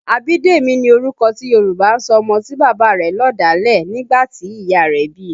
Abidemi ni orúkọ tí Yòrùbá ń sọ ọmọ tí bàbá rẹ̀ lọ̀dálẹ̀ nígbà tí ìyá rẹ̀ bí i